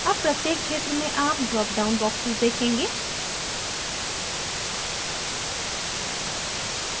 अब प्रत्येक क्षेत्र में आप dropdown boxes देखेंगे